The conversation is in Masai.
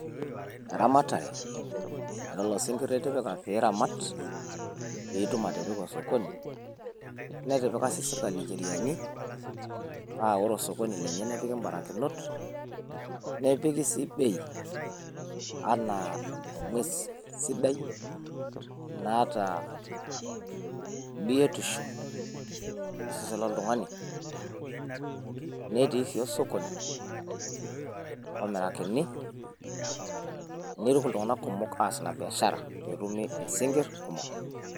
eramatare elelo sinkir itipika pee iramat .pee itum atipika osokoni. netipika sii sirkali ibarakinot, paa ore osokoni lenye nepiki ncheriaani. nepiki sii bei anaa ing'uesi sidai naata biotisho tosesen loltungani. netii sii osokoni omirakini.